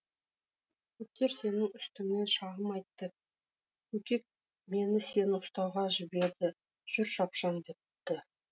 кептер сенің үстіңнен шағым айтты көкек мені сені ұстауға жіберді жүр шапшаң депті